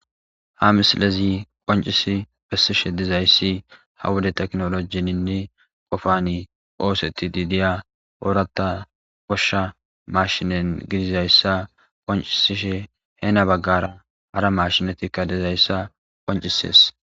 Ha mislezi qoncisi pessishe dizayssi ha wuda teknolojeninne qofani ooseti diidiya orata qoshsha mashinen gidizayssa qoncisishe heena baggara hara mashinatikka dizayssa qoncisees.